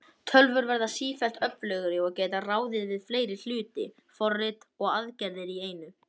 Þjóðverjar hefja umsátur um borgina